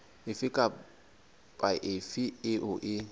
efe kapa efe eo e